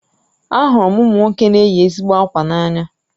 Ahụru m ụmụ nwoke na-eyi ezigbo ákwà n'anya